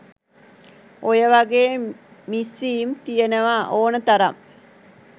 ඔයවගේ මිස්විම් තියනව ඕන තරම්